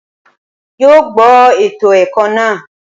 N yoo gbọ eto ẹkọ naa